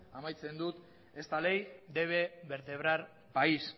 amaitzen dut esta ley debe vertebrar país